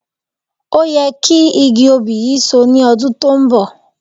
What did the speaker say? Ó yẹ kí igi òbí yìí So ní ọdún tó ń bọ̀